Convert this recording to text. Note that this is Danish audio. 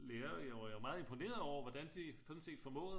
Lærere jeg var jo meget imponeret over hvordan de sådan set formåede